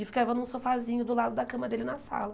E ficava num sofazinho do lado da cama dele na sala.